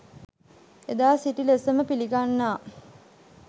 එදා සිටි ලෙසම පිළිගන්නා